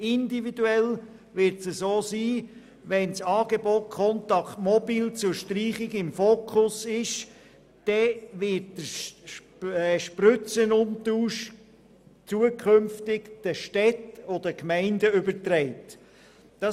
Individuell wird es so sein, dass wenn das Angebot Contact mobil zur Streichung im Fokus steht, der Spritzenumtausch künftig den Städten und Gemeinden übertragen wird.